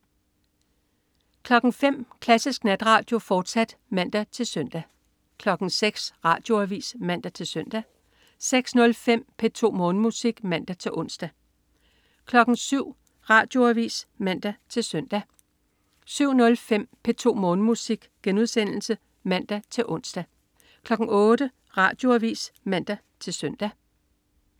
05.00 Klassisk Natradio, fortsat (man-søn) 06.00 Radioavis (man-søn) 06.05 P2 Morgenmusik (man-ons) 07.00 Radioavis (man-søn) 07.05 P2 Morgenmusik* (man-ons) 08.00 Radioavis (man-søn)